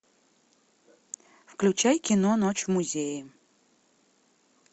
включай кино ночь в музее